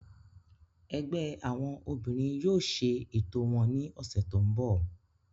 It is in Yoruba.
Ẹgbẹ́ àwọn obìnrin yóò ṣe ètò wọn ní ọ̀sẹ̀ tó ń bọ̀